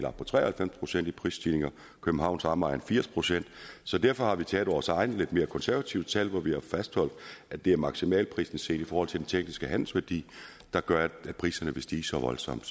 op på tre og halvfems procent i prisstigninger og københavns omegn firs procent så derfor har vi taget vores egne lidt mere konservative tal hvor vi har fastholdt at det er maksimalprisen set i forhold til den tekniske handelsværdi der gør at priserne vil stige så voldsomt